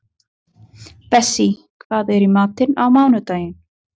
Bessí, hvað er í matinn á mánudaginn?